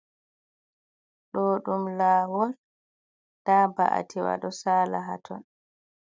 Do ɗum lawol, da ba'atiwa do sala haton.